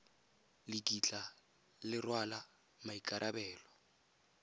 le kitla le rwala maikarabelo